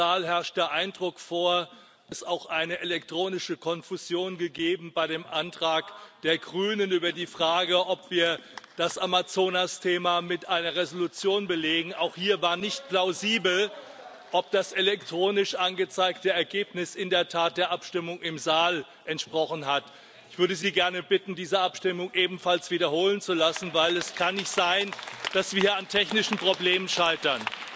Im Saal herrscht der Eindruck vor, es habe auch eine elektronische Konfusion bei dem Antrag der Grünen über die Frage gegeben, ob wir das Amazonas Thema mit einer Entschließung belegen auch hier war nicht plausibel, ob das elektronisch angezeigte Ergebnis in der Tat der Abstimmung im Saal entsprochen hat. Ich würde Sie bitten, diese Abstimmung ebenfalls wiederholen zu lassen, weil es nicht sein kann, dass wir hier an technischen Problemen scheitern.